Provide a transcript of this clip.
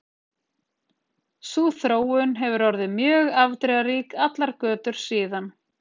Sú þróun hefur orðið mjög afdrifarík allar götur síðan.